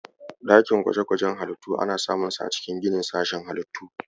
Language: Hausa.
Dakin gwaje-gwajen halittu ana samunsa a cikin ginin sashen Halittu.